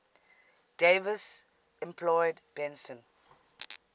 davis employed benson